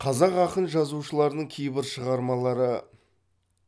қазақ ақын жазушыларының кейбір шығармалары